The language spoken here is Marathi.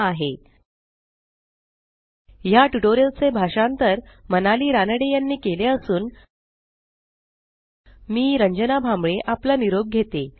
spoken tutorialorgnmeict इंट्रो या टयूटोरियल चे भाषांतर मनाली रानडे यानी केले असून मी आवाज रंजना भांबळे आपला निरोप घेते